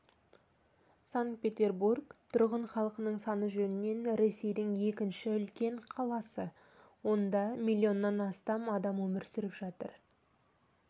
санкт-петербург тұрғын халқының саны жөнінен ресейдің екінші үлкен қаласы онда миллионан астам адам өмір сүріп жатыр